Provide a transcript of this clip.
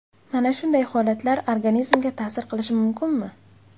Mana shunday holatlar organizmga ta’sir qilishi mumkinmi?